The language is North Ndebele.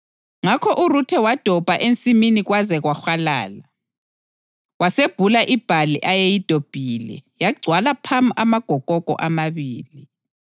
Ngakho uRuthe wadobha ensimini kwaze kwahwalala. Wasebhula ibhali ayeyidobhile, yagcwala phamu amagokoko amabili.